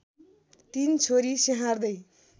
तीन छोरी स्याहार्दै